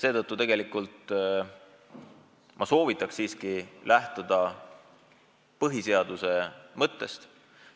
Seetõttu ma soovitan siiski lähtuda põhiseaduse mõttest.